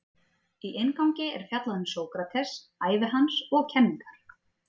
Í inngangi er fjallað um Sókrates, ævi hans og kenningar.